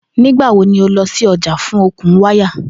Nigbawo ni o lọ si ọja fun okun waya?